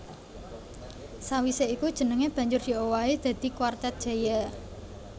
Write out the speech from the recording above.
Sawisé iku jenengé banjur diowahi dadi Kwartet Jaya